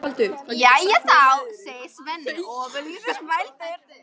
Nei, svaraði Jón með sömu hægðinni og áður.